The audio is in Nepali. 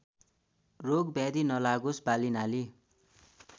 रोगब्याधी नलागोस् बालीनाली